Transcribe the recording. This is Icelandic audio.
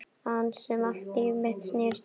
Hans sem allt líf mitt snerist um.